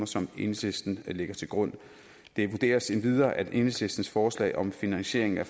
som enhedslisten lægger til grund det vurderes endvidere at enhedslistens forslag om finansiering af